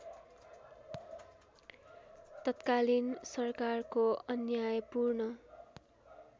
तत्कालीन सरकारको अन्यायपूर्ण